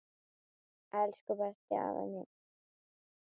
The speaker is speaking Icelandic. Elsku besti afi minn.